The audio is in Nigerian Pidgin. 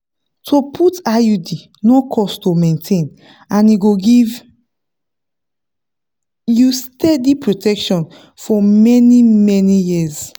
to put iud no cost to maintain and e go give you steady protection for many-many years.